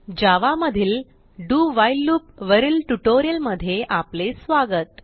जावा मधील do while loop वरील ट्युटोरियलमध्ये आपले स्वागत